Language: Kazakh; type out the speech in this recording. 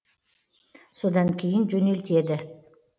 содан кейін жөнелтеді